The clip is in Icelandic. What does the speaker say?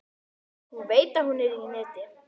Hún veit að hún er í neti.